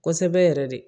Kosɛbɛ yɛrɛ de